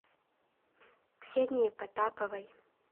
ксении потаповой